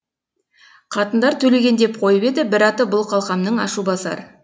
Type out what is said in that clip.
қатындар төлеген деп қойып еді бір аты бұл қалқамның ашу басар